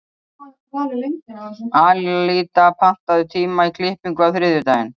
Alída, pantaðu tíma í klippingu á þriðjudaginn.